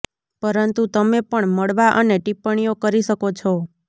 પરંતુ તમે પણ મળવા અને ટિપ્પણીઓ કરી શકો છો